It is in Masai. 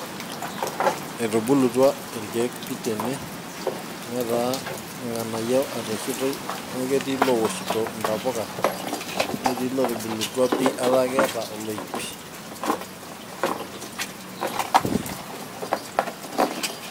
etubulutua irkeek pii tene, netaa irng'anayio ereshitoi amu ketii ilowoshito intapuka, netii ilootubulutua pi etaa keeta oloip.